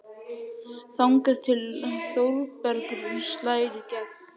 Þangað til Þórbergur slær í gegn.